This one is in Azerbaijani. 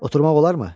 Oturmaq olarmı?